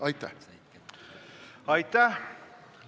Aitäh!